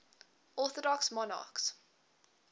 orthodox monarchs